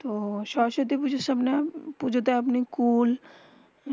তো সরস্বতী পুজো সময়ে পুজো তে আপনি কূল